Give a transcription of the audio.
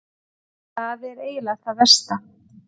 Það er eiginlega það versta.